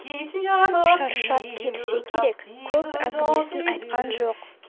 шаршап келсе керек көп әңгімесін айтқан жоқ